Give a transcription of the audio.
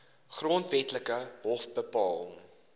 grondwetlike hof bepaal